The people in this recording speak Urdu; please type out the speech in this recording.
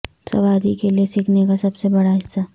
سواری کے لئے سیکھنے کا سب سے بڑا حصہ